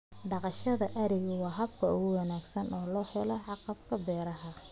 Dhaqashada arigu waa hab wanaagsan oo lagu helo agabka beeraha.